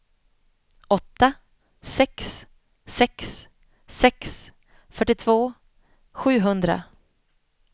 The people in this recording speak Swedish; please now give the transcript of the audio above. åtta sex sex sex fyrtiotvå sjuhundra